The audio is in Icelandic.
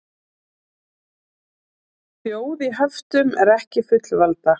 Þjóð í höftum er ekki fullvalda